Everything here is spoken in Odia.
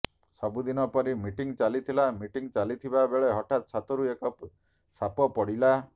ସବୁ ଦିନ ପରି ମିଟିଂ ଚାଲିଥିଲା ମିଟିଂ ଚାଲିଥିବା ବେଳେ ହଠାତ ଛାତରୁ ଏକ ସାପ ପଡ଼ିଲା